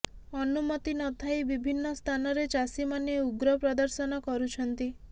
ଅନୁମତି ନଥାଇ ବିଭିନ୍ନ ସ୍ଥାନରେ ଚାଷୀମାନେ ଉଗ୍ର ପ୍ରଦର୍ଶନ କରୁଛନ୍ତି